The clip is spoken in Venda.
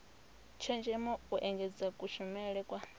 tshenzhemo u engedza kushumele kwa